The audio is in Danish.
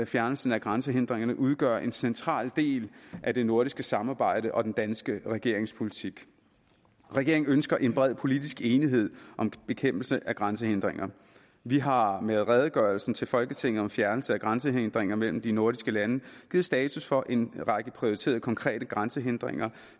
fjernelsen af grænsehindringerne udgør en central del af det nordiske samarbejde og den danske regerings politik regeringen ønsker en bred politisk enighed om bekæmpelse af grænsehindringer vi har med redegørelsen til folketinget om fjernelse af grænsehindringer mellem de nordiske lande givet status for en række prioriterede konkrete grænsehindringer